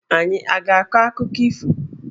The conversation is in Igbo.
Anyị a ga-akọ akụkọ ifo?